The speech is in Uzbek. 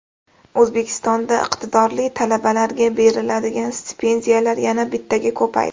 O‘zbekistonda iqtidorli talabalarga beriladigan stipendiyalar yana bittaga ko‘paydi.